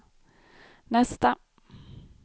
nästa